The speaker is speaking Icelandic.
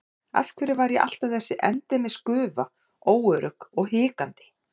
Af hverju var ég alltaf þessi endemis gufa, óörugg og hikandi?